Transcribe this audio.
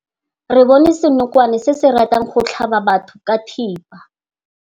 Re bone senokwane se se ratang go tlhaba batho ka thipa.